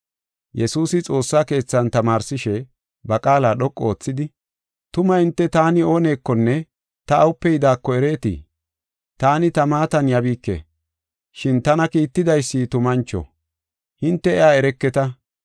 Yesuusi xoossa keethan tamaarsishe ba qaala dhoqu oothidi, “Tuma hinte taani oonekonne ta awupe yidaako ereetii? Taani ta maatan yabiike, shin tana kiittidaysi tumancho; hinte iya ereketa.